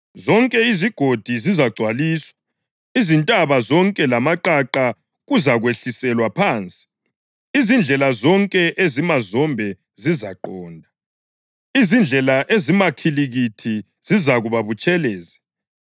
Zonke izigodi zizagcwaliswa, izintaba zonke lamaqaqa kuzakwehliselwa phansi. Izindlela zonke ezimazombe zizaqonda, izindlela ezimakhilikithi zizakuba butshelezi.